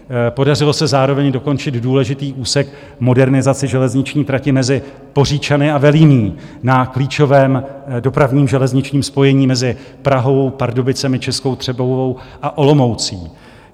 Podařilo se zároveň dokončit důležitý úsek modernizace železniční trati mezi Poříčany a Velimí na klíčovém dopravním železničním spojení mezi Prahou, Pardubicemi, Českou Třebovou a Olomoucí.